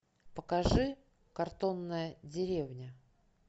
покажи картонная деревня